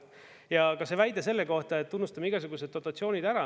Ja ka see väide selle kohta, et unustame igasuguseid dotatsioonid ära.